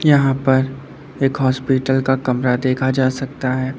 यहां पर एक हॉस्पिटल का कमरा देखा जा सकता है।